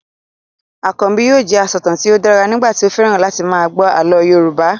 Akànbi yóò jẹ asọ̀tàn tí ó dára nígbà tí ó fẹ́ràn láti máa gbọ́ àlọ́ Yorùbá